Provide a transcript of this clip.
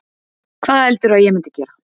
Hvað heldurðu að ég myndi gera?